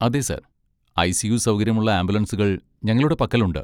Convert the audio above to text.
അതെ sir! ICU. സൗകര്യമുള്ള ആംബുലൻസുകൾ ഞങ്ങളുടെ പക്കലുണ്ട്.